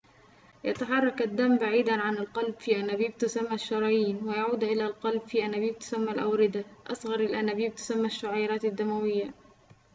يتحرك الدم بعيداً عن القلب في أنابيب تسمى الشرايين ويعود إلى القلب في أنابيب تسمى الأوردة أصغر الأنابيب تسمى الشعيرات الدموية